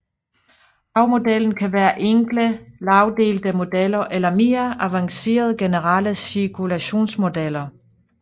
Havmodellen kan være enkle lagdelte modeller eller mere avancerede generelle cirkulationsmodeller